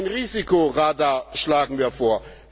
Ein Risikoradar schlagen wir vor.